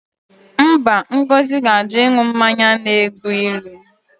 Mba, Ngozi ga-ajụ ịṅụ mmanya na-egbu ilu